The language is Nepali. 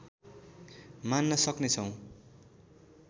मान्न सक्ने छौँ